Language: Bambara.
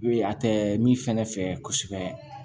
I b'o ye a tɛ min fɛnɛ fɛ kosɛbɛ